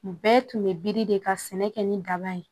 Bɛɛ tun bɛ biri de ka sɛnɛ kɛ ni daba ye